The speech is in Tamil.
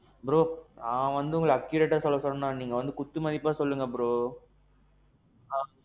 bro, நான் ஒன்னும் உங்கள accurateஅ சொல்ல சொல்லல. நீங்க வந்து ஒரு குத்து மதிப்பா சொல்லுங்க bro. ஆ.